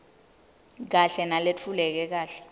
kahle naletfuleke kahle